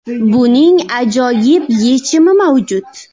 Buning ajoyib yechimi mavjud.